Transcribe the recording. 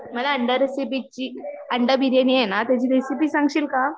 मला अंडा रेसिपी ची, अंडा बिर्याणी आहे ना त्याची रेसिपी सांगशील का?